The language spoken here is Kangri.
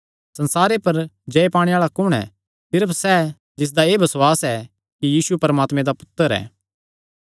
संसारे पर जय पाणे आल़ा कुण ऐ सिर्फ सैह़ जिसदा एह़ बसुआस ऐ कि यीशु परमात्मे दा पुत्तर ऐ